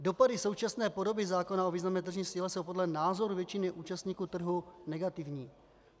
Dopady současné podoby zákona o významné tržní síle jsou podle názoru většiny účastníků trhu negativní.